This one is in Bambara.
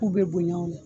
K'u bɛ bonya o la